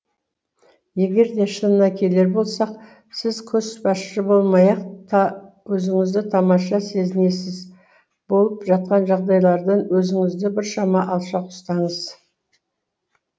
егер де шынына келер болсақ сіз көшбасшы болмай ақ та өзіңізді тамаша сезінесіз болып жатқан жағдайлардан өзіңізді біршама алшақ ұстаңыз